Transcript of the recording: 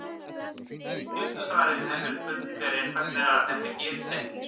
Stutta svarið við þessari spurningu er einfaldlega að þetta gerist ekki.